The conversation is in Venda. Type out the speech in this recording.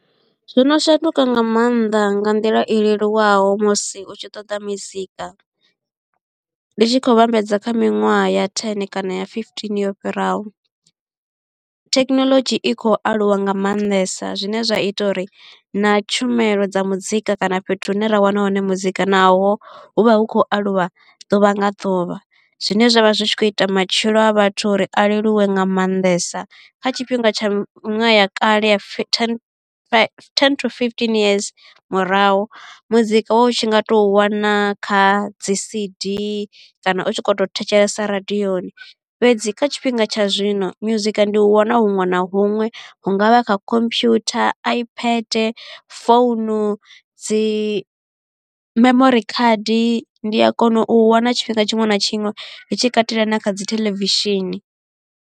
Zwono shanduka nga maanḓa nga nḓila i leluwaho musi u tshi ṱoḓa mizika, ndi tshi khou vhambedza kha miṅwaha ya ten kana ya fifteen yo fhiraho. Thekhinoḽodzhi i khou aluwa nga maanḓesa zwine zwa ita uri na tshumelo dza muzika kana fhethu hune ra wana hone muzika naho hu vha hu khou aluwa ḓuvha nga ḓuvha, zwine zwavha zwi tshi khou ita matshilo a vhathu uri a leluwe nga maanḓesa kha tshifhinga tsha ṅwaha ya kale ya fifteen to ten to fifteen years murahu muzika wa u tshi nga tou wana kha dzi C_D kana u tshi kho to thetshelesa radioni fhedzi kha tshifhinga tsha zwino musika ndi u wana huṅwe na huṅwe huṅwe hungavha kha computer, ipad, phone dzi memori khadi ndi a kona u wana tshifhinga tshiṅwe na tshiṅwe ndi tshi katela na kha dzi theḽevishini.